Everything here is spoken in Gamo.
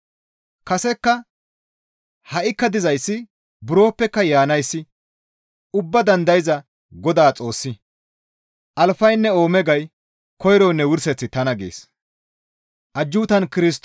Kasekka, ha7ikka dizayssi buroppeka Yaanayssi ubbaa dandayza Godaa Xoossi, «Alfaynne Oomegay, Koyroynne Wurseththi tana» gees.